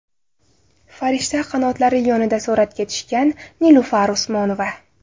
Farishta qanotlari yonida suratga tushgan Nilufar Usmonova.